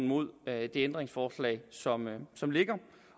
mod det ændringsforslag som som ligger